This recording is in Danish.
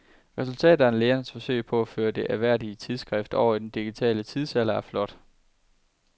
Resultatet af lægernes forsøg på at føre det ærværdige tidsskrift over i den digitale tidsalder er flot.